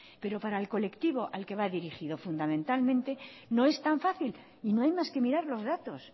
pero para el colectivo al que va dirigido fundamentalmente no es tan fácil y no hay más que mirar los datos